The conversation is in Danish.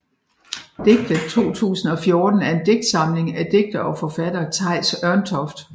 Digte 2014 er en digtsamling af digter og forfatter Theis Ørntoft